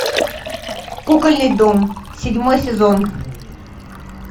кукольный дом седьмой сезон